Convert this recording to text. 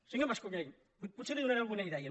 senyor mas·colell potser li donaré alguna idea